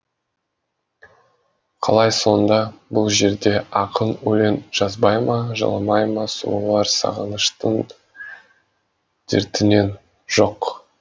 қалай сонда бұл жерде ақын өлең жазбай ма жыламай ма сұлулар сағыныштың дертінен жоқ